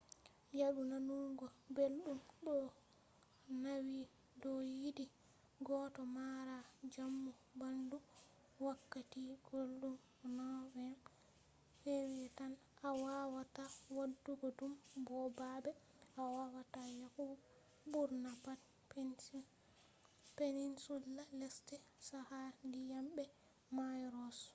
yaadu nanugo beldum do nawi do yidi goddo mara jamu bandu wakkati guldum nov-feb tan a wawata wadugo dum bo babe a wawata yahugo burna pat peninsula lesde chaka dyam be mayo ross